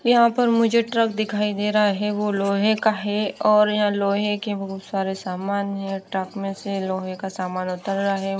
यहाँ पर मुझे ट्रक दिखाई दे रहा है वो लोहे का है और यहाँ लोहे के बहुत सारे सामान है ट्रक में से लोहे का सामान उतर रहा है --